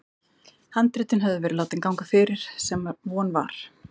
Handritin höfðu verið látin ganga fyrir, sem von var.